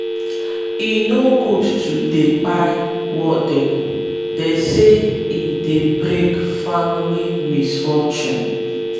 e no good to dey kpai wall geckos- dey say e dey bring family misfortune.